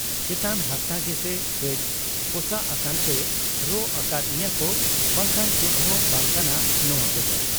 ᱪᱮᱛᱟᱱ ᱦᱟᱨᱛᱟ ᱜᱮᱥᱮ ᱠᱟᱹᱡ ᱯᱚᱥᱟᱜ ᱟᱠᱟᱱᱛᱮ ᱨᱟᱜ ᱟᱠᱟᱫ ᱤᱧᱟᱠᱚ ᱵᱟᱝᱠᱷᱟᱱ ᱪᱮᱫᱦᱚᱸ ᱵᱟᱝ ᱠᱟᱱᱟ ᱱᱚᱶᱟ ᱠᱚᱫᱚ ᱾